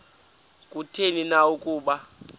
kutheni na ukuba